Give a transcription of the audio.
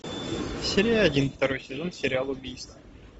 серия один второй сезон сериал убийство